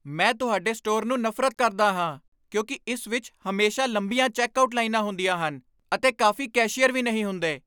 ਮੈਂ ਤੁਹਾਡੇ ਸਟੋਰ ਨੂੰ ਨਫ਼ਰਤ ਕਰਦਾ ਹਾਂ ਕਿਉਂਕਿ ਇਸ ਵਿੱਚ ਹਮੇਸ਼ਾ ਲੰਬੀਆਂ ਚੈੱਕਆਉਟ ਲਾਈਨਾਂ ਹੁੰਦੀਆਂ ਹਨ ਅਤੇ ਕਾਫ਼ੀ ਕੈਸ਼ੀਅਰ ਵੀ ਨਹੀਂ ਹੁੰਦੇ।